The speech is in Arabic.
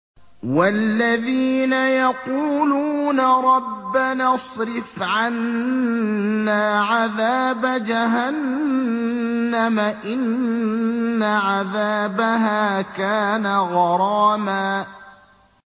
وَالَّذِينَ يَقُولُونَ رَبَّنَا اصْرِفْ عَنَّا عَذَابَ جَهَنَّمَ ۖ إِنَّ عَذَابَهَا كَانَ غَرَامًا